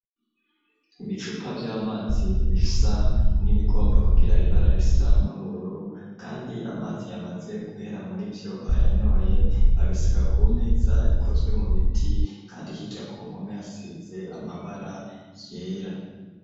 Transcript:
Ibicupa vy'amazi, bifisa n'ibigomba kugira ibara risa n'ubururu, kandi amazi yamaze guhera muri vyo bayanyoye ,babisiga kumeza ikozwe mu biti, kandi hirya kumpome hasize amabara yera.